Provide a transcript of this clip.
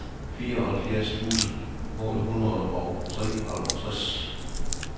fireoghalvfjerds tusind otte hundrede og treoghalvtreds